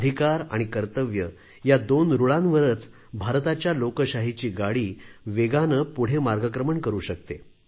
अधिकार आणि कर्तव्य या दोन रूळांवरच भारताच्या लोकशाहीची गाडी वेगाने पुढे मार्गक्रमण करू शकते